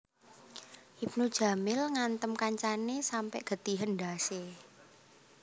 Ibnu Jamil ngantem kancane sampe getihen ndhas e